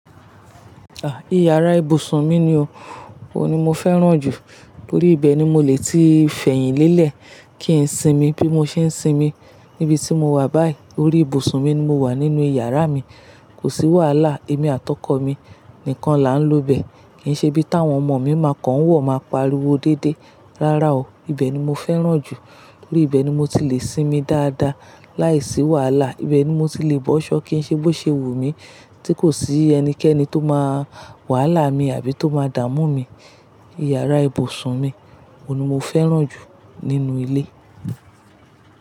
Ah, ìyàrá ìbùsùn mi ni o. Ohun ni mo fẹ́ràn jù. Orí ibẹ̀ ni mo lè ti fẹ̀yìn lẹ́lẹ̀ kí n sinmi bí mo ṣe ń sinmi níbi tí mo wà báyìí. Orí ìbùsùn mi ni mo wà nínú ìyàrá mi. Kò sí wàhálà, èmi àtọkọ̀ mi nìkan la ń lò bẹ. Kì í ṣe bí tàwọn ọmọ mi ma kan ń wọ ma pariwo déédéé. Rárá o. Ibẹ̀ ni mo fẹ́ràn jù. Orí ibẹ ni mo ti lè sinmi dáadáa, láìsí wàhálà. Ibẹ̀ ni mo ti lè bọ́ ṣọ́ kì í ṣe bó ṣe wù mi, tí kò sí ẹnikẹ́ni tó máa wàhálà mi àbí tó máa dàmú mi. Ìyárá ibùsùn mi, ọ̀ ni mo fẹ́ràn jù nínú ilé.